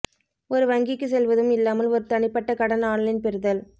ஒரு வங்கிக்கு செல்வதும் இல்லாமல் ஒரு தனிப்பட்ட கடன் ஆன்லைன் பெறுதல்